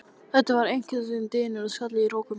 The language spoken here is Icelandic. Þetta var einkennilegur dynur sem skall á í rokum.